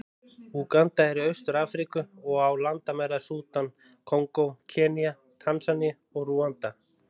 Úganda er í Austur-Afríku, og á landamæri að Súdan, Kongó, Kenía, Tansaníu og Rúanda.